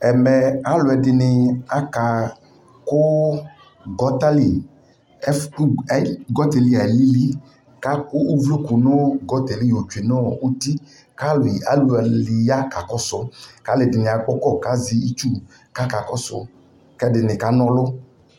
ɛmɛ alʋɛdini aka kʋ gutter li, gutter li alili kʋ akʋ ʋvlɔkʋ yɔ twenʋ gutter li nʋ ʋti kʋ alʋ kʋ alʋ ya kakɔsʋ kʋ alʋɛdini kɔ kʋ azɛ itsu kʋ akakɔsʋ, kʋ ɛdini kanɔlʋ